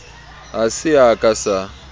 ha se a ka sa